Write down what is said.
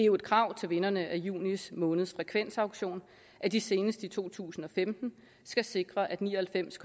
jo et krav til vinderne af juni måneds frekvensauktion at de senest i to tusind og femten skal sikre at ni og halvfems